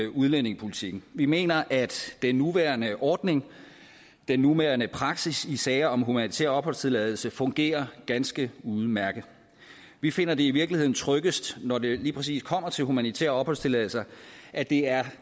udlændingepolitikken vi mener at den nuværende ordning den nuværende praksis i sager om humanitær opholdstilladelse fungerer ganske udmærket vi finder det i virkeligheden tryggest når det lige præcis kommer til humanitære opholdstilladelser at det er